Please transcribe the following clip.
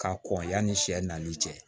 Ka kɔn yanni sɛ n'i cɛ